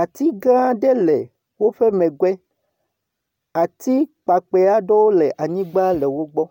Ati gã aɖe le woƒe megbe. Ati kpakpɛ aɖewo le anyigba le wogbɔ.